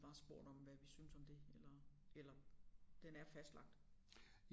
Bare spurgt om hvad vi synes om det eller eller den er fastlagt